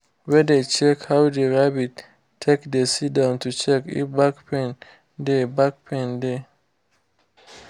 we dey check how the rabbit take dey sit down to check if back pain dey back pain dey